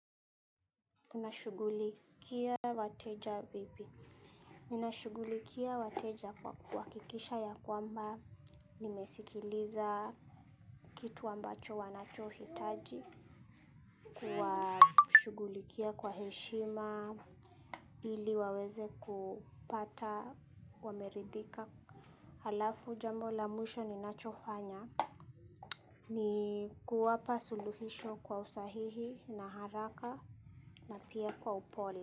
Unashughulikia wateja vipi? Ninashughulikia wateja kwa kuhakikisha ya kwamba nimesikiliza kitu ambacho wanachohitaji, kuwashughulikia kwa heshima. Ili waweze kupata wameridhika. Halafu jambo la mwisho ninachofanya ni kuwapa suluhisho kwa usahihi na haraka na pia kwa upole.